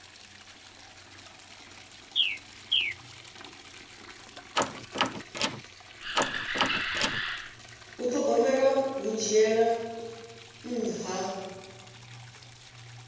u thogomela hu dzhiela nṱha